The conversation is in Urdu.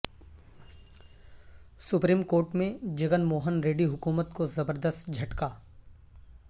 سپریم کورٹ میں جگن موہن ریڈی حکومت کو زبردست جھٹکہ